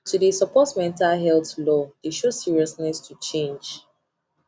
to de support mental health law de show seriousness to change